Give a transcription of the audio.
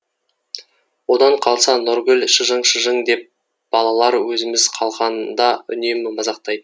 одан қалса нұргүл шыжың шыжың деп балалар өзіміз қалғанда үнемі мазақтайтын